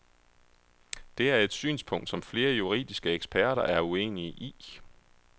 Det er et synspunkt, som flere juridiske eksperter er uenige i.